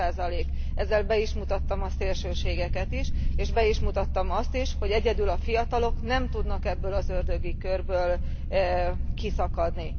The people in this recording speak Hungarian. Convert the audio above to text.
10. Ezzel be is mutattam a szélsőségeket is, és be is mutattam azt is, hogy egyedül a fiatalok nem tudnak ebből az ördögi körből kiszakadni.